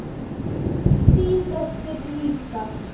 Þín dóttir Lísa.